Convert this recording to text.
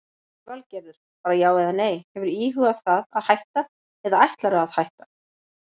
Lillý Valgerður: Bara já eða nei, hefurðu íhugað það að hætta eða ætlarðu að hætta?